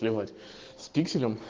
плевать с пикселем